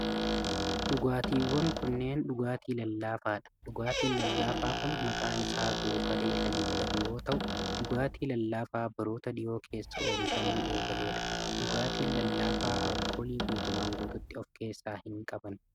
Dhugaatiiwwan kunneen dhugaatii lallaafaa dha. Dhugaatiin lallaafaa kun maqaan isaa kun Goofaree kan jedhamu yoo ta'u, dhugaatii lallaafaa baroota dhihoo keessa oomishamuu eegalee dha. Dhugaatiin lallaafaa alkoolii guutumaan guututti of keessaa hin qaban.